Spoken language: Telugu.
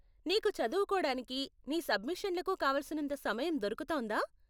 నీకు చదువుకోడానికి, నీ సబ్మిషన్లకు కావాల్సినంత సమయం దొరుకుతోందా ?